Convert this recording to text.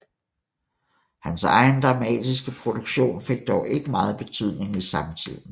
Hans egen dramatiske produktion fik dog ikke meget betydning i samtiden